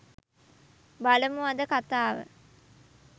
බලමු අද කතාව